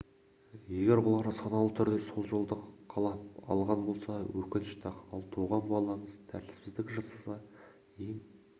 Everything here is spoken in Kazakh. егер олар саналы түрде сол жолды қалап алған болса өкінішті-ақ ал туған балаңыз тәртіпсіздік жасаса ең